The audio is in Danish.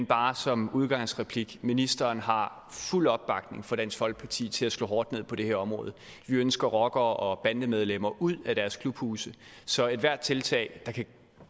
bare som udgangsreplik sige ministeren har fuld opbakning fra dansk folkeparti til at slå hårdt ned på det her område vi ønsker rockere og bandemedlemmer ud af deres klubhuse så ethvert tiltag der kan